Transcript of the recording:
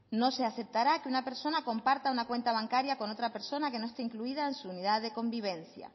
no se aceptará que una persona comparta una cuenta bancaria con otra persona que no esté incluida en su unidad de convivencia